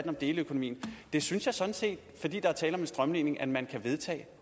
om deleøkonomien synes jeg sådan set fordi der er tale om en strømlining at man kan vedtage